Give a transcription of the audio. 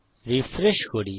refresh করি